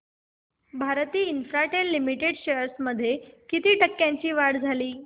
Bharti Infratel limited shares मध्ये किती टक्क्यांची वाढ झाली